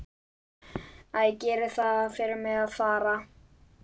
Æ, gerið það fyrir mig að fara.